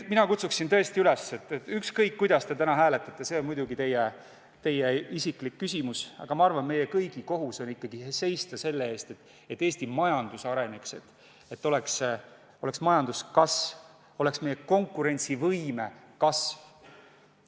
Ükskõik, kuidas te täna hääletate, see on teie isiklik küsimus, aga ma arvan, et meie kõigi kohus on seista selle eest, et Eesti majandus areneks, majandus kasvaks ja ka meie konkurentsivõime kasvaks.